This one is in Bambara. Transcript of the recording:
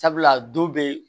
Sabula don bee